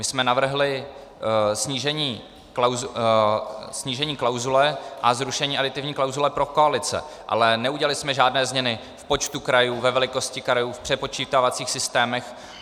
My jsme navrhli snížení klauzule a zrušení aditivní klauzule pro koalice, ale neudělali jsme žádné změny v počtu krajů, ve velikosti krajů, v přepočítávacích systémech.